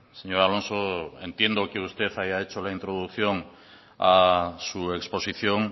señor alonso entiendo que usted haya hecho la introducción a su exposición